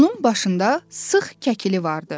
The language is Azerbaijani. Onun başında sıx kəkili vardı.